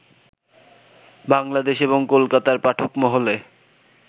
বাংলাদেশ এবং কোলকাতার পাঠক মহলে